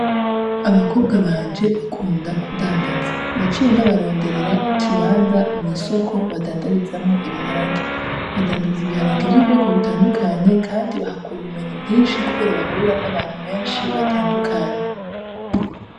Abakobwa banje bakunda kudandaza. Naciye ndabaronderera ikibanza mw’isoko badandarizamwo ibiharage. Badandaza ibiharage vy’ubwoko butandukanye kandi bahakura ubumenyi bwinshi kubera bahura n'abantu benshi batandukanye.